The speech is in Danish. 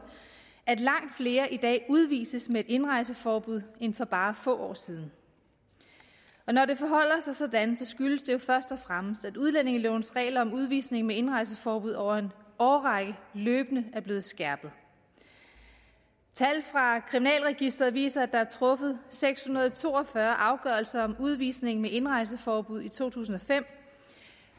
at langt flere i dag udvises med indrejseforbud end for bare få år siden når det forholder sig sådan skyldes det jo først og fremmest at udlændingelovens regler om udvisning med indrejseforbud over en årrække løbende er blevet skærpet tal fra kriminalregisteret viser at der er truffet seks hundrede og to og fyrre afgørelser om udvisning med indrejseforbud i to tusind og fem